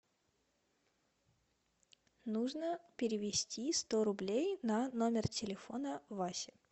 нужно перевести сто рублей на номер телефона васи